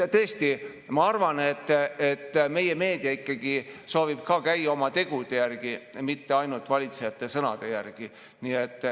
Tõesti, ma arvan, et meie meedia soovib käia ikkagi oma tegude, mitte ainult valitsejate sõnade järgi.